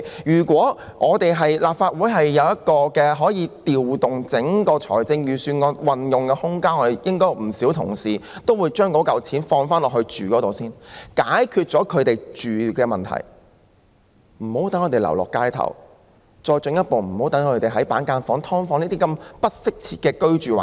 如果立法會可以有空間調動預算案的撥款運用，應有不少議員會提出把款項用作住屋用途，先解決他們的住屋問題，讓他們無需流落街頭，無需繼續居於板間房或"劏房"等不適切的居住環境。